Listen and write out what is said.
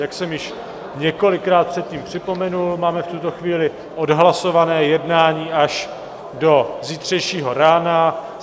Jak jsem již několikrát předtím připomenul, máme v tuto chvíli odhlasované jednání až do zítřejšího rána.